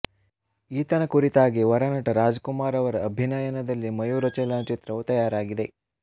ಈತನ ಕುರಿತಾಗಿ ವರನಟ ರಾಜಕುಮಾರ್ ಅವರ ಅಭಿನಯದಲ್ಲಿ ಮಯೂರ ಚಲನಚಿತ್ರವು ತಯಾರಾಗಿದೆ